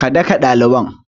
Ka daka ɗaliban!